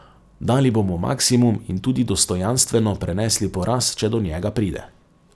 Dali bomo maksimum in tudi dostojanstveno prenesli poraz, če do njega pride.